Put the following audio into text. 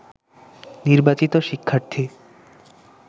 নির্বাচিত শিক্ষার্থী